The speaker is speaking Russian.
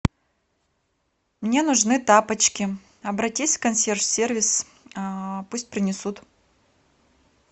мне нужны тапочки обратись в консьерж сервис пусть принесут